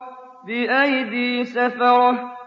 بِأَيْدِي سَفَرَةٍ